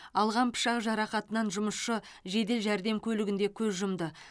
алған пышақ жарақатынан жұмысшы жедел жәрдем көлігінде көз жұмды